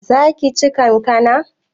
Zaka ci kankana?